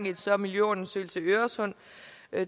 i en større miljøundersøgelse i øresund